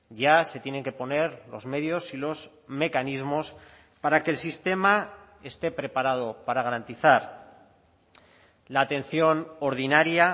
ya se tienen que poner los medios y los mecanismos para que el sistema esté preparado para garantizar la atención ordinaria